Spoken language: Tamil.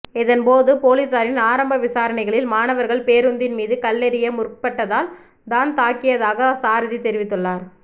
இதன் போது பொலிஸாரின் ஆரம்ப விசாரணைகளில் மாணவர்கள் பேருந்தின் மீது கல் எறிய முற்ப்பட்டதால் தான் தாக்கியதாக சாரதி தெரிவித்துள்ளார்